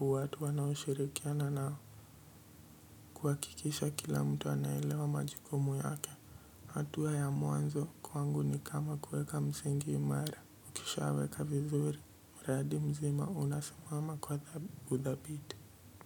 watu wanaoshirikiana nao kuhakikisha kila mtu anaelewa majukumu yake. Hatua ya mwanzo kwangu ni kama kueka msingi imara, ukishaa weka vizuri. Mradi mzima unasimama kwa u dhabiti.